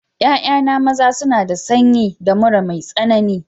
Ya'ya maza na suna da sanyi da mura mai tsanani.